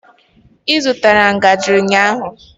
Ị zụtara ngaji ụnyaahụ?